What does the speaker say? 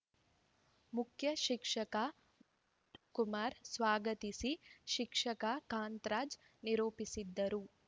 ಮುಖ್ಯ ಶಿಕ್ಷಕ ವಸಂತ ಕುಮಾರ್ ಸ್ವಾಗತಿಸಿ ಶಿಕ್ಷಕ ಕಾಂತರಾಜ್‌ ನಿರೂಪಿಸಿದರು